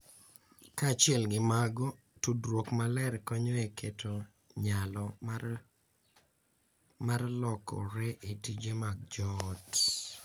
Kaachiel gi mago, tudruok maler konyo e keto nyalo mar lokore e tije mag joot.